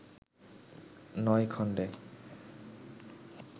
নয় খন্ডে